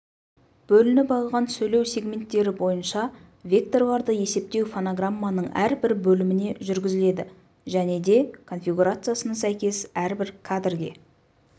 бөлініп алынған сөйлеу сегменттері бойынша -векторларды есептеу фонограмманың әрбір бөліміне жүргізіледі және де конфигурациясына сәйкес әрбір кадрге